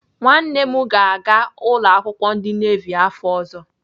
Nwanne m ga-aga ụlọakwụkwọ ndị nevi afọ ọzọ.